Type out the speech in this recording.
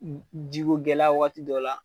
Jigikogɛlɛya waati dɔ la.